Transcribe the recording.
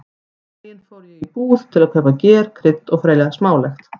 Um daginn fór ég í búð til að kaupa ger, krydd og fleira smálegt.